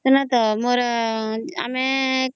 ସୁନ ତ ମୋର ଆମେ